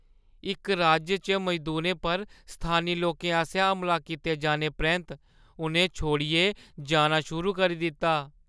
इक राज्य च मजदूरें पर स्थानी लोकें आसेआ हमला कीते जाने परैंत्त उʼनें छोड़ियै जाना शुरू करी दित्ता ।